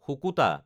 শুকুতা